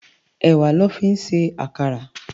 Èwá lò fi n sé àkárà